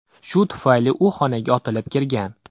Shu tufayli u xonaga otilib kirgan.